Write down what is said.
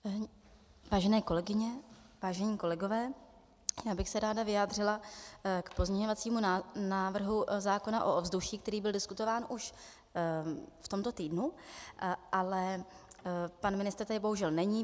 Vážené kolegyně, vážení kolegové, já bych se ráda vyjádřila k pozměňovacímu návrhu zákona o ovzduší, který byl diskutován už v tomto týdnu, ale pan ministr tady bohužel není.